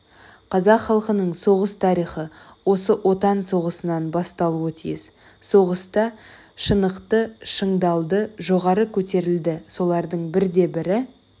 қазақ халқының соғыс тарихы осы отан соғысынан басталуға тиіс соғыста шынықты шыңдалды жоғары көтерілді солардың бірде-бірі